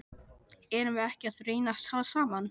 Erum við ekki að reyna að tala saman?